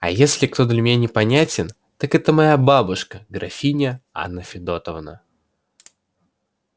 а если кто для меня непонятен так это моя бабушка графиня анна федотовна